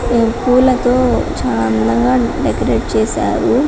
చాల గడ్డి ఉంది గడ్డిలో చిన్న చిన్న పువ్వులు కూడా ఉన్నాయి .